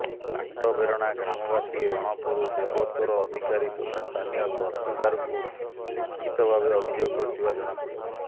ପାଟବେରଣା ଗ୍ରାମବାସୀ ରଣପୁର ଦେବତ୍ତୋର ଅଧିକାରୀ ତଥା ସ୍ଥାନୀୟ ତହସିଲ୍ଦାରଙ୍କୁ ଲିଖିତ ଭାବେ ଅଭିଯୋଗ କରିଥିବା ଜଣା ପଡିଛି